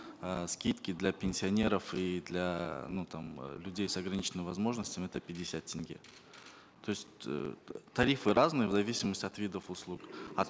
э скидки для пенсионеров и для ну там людей с ограниченными возможностями это пятьдесят тенге то есть э тарифы разные в зависимости от видов услуг от